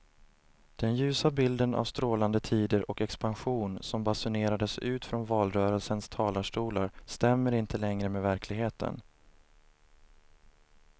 Den ljusa bilden av strålande tider och expansion som basunerades ut från valrörelsens talarstolar stämmer inte längre med verkligheten.